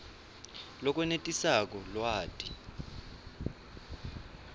lokwenetisako lwati